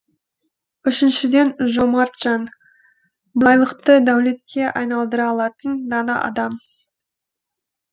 үшіншіден жомарт жан байлықты дәулетке айналдыра алатын дана адам